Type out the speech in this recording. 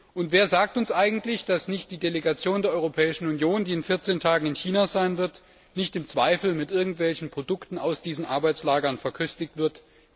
Und wer sagt uns eigentlich, dass die Delegation der Europäischen Union, die in 14 Tagen in China sein wird, nicht im Zweifelsfall mit Produkten aus diesen Arbeitslagern verköstigt wird?